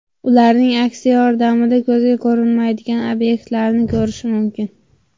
Ularing aksi yordamida ko‘zga ko‘rinmaydigan obyektlarni ko‘rish mumkin.